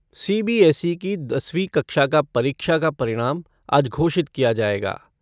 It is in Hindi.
सीबीएसई की दसवीं कक्षा का परीक्षा का परिणाम आज घोषित किया जाएगा।